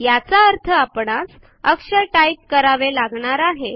याचा अर्थ आपणास अक्षर टाइप करावे लागणार आहे